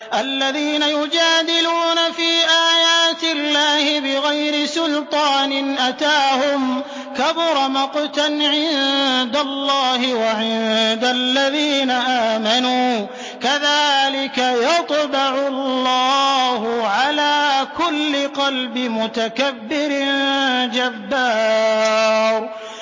الَّذِينَ يُجَادِلُونَ فِي آيَاتِ اللَّهِ بِغَيْرِ سُلْطَانٍ أَتَاهُمْ ۖ كَبُرَ مَقْتًا عِندَ اللَّهِ وَعِندَ الَّذِينَ آمَنُوا ۚ كَذَٰلِكَ يَطْبَعُ اللَّهُ عَلَىٰ كُلِّ قَلْبِ مُتَكَبِّرٍ جَبَّارٍ